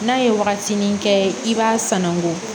N'a ye wagatinin kɛ i b'a sanangon